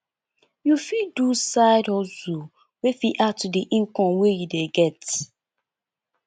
you fit do side hustle wey fit add to di income wey you dey get